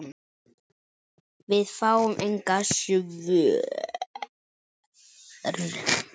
Við fáum engin svör.